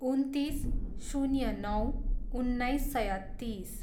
उन्तिस, शून्य नौ, उन्नाइस सय तिस